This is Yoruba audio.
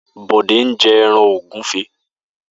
Bode n jè èràn ógùfé